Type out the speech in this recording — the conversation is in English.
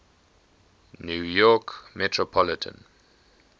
new york metropolitan